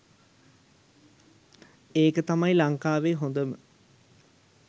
ඒක තමයි ලංකාවේ හොඳම